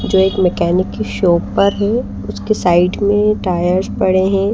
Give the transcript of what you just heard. जो एक मैकेनिक की शॉप पर है उसके साइड में टायर्स पड़े हैं।